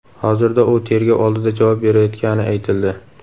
Hozirda u tergov oldida javob berayotgani aytildi.